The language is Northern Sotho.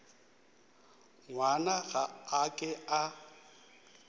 ngwana ga a ke a